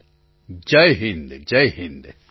પ્રધાનમંત્રી જય હિન્દ જય હિન્દ